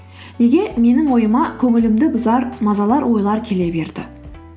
неге менің ойыма көңілімді бұзар мазалар ойлар келе берді